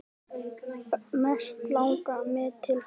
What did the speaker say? Mest langar mig til þess.